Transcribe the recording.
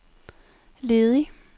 ledig